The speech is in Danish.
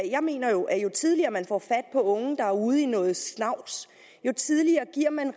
jeg mener at jo tidligere man får fat på unge der er ude i noget snavs jo tidligere giver man